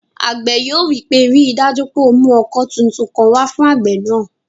Àgbẹ̀ yóò wí pé, "ríi dájú pé o mú ọkọ́ tuntun kan wá fún àgbẹ̀ náà!"